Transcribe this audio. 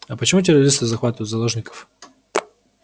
а почему террористы захватывают заложников